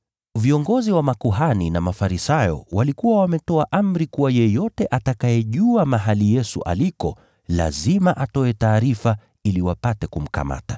Viongozi wa makuhani na Mafarisayo walikuwa wametoa amri kuwa yeyote atakayejua mahali Yesu aliko, lazima atoe taarifa ili wapate kumkamata.